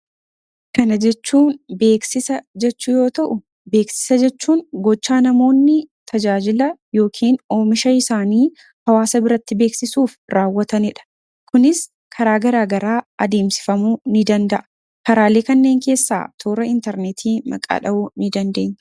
kana jechuun beeksisa jechuu yoo ta'u beeksisa jechuun gochaa namoonni tajaajila yookin oomisha isaanii hawaasa biratti beeksisuuf raawwatanii dha kunis karaa garaagaraa adeemsifamuu ni danda'a karaalii kanneen keessaa toora intarneetii maqaadha'uu ni danda'enye